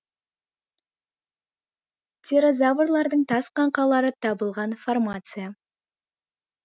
птерозаврлардың тас қаңқалары табылған формация